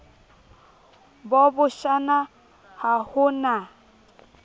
bo bashana ha ho na